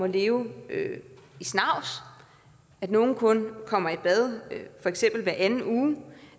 leve i snavs at nogle kun kommer i bad feks hver anden uge